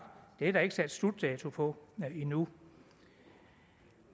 er der ikke sat en slutdato på endnu